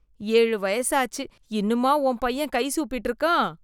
ஏழு வயசு ஆச்சு, இன்னுமா உன் பையன் கை சூப்பிட்டு இருக்கான்?